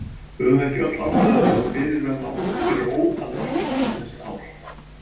Höfum við ekki öll ástæðu til að fyrirverða okkur fyrir ótal margt eftir þessi ár?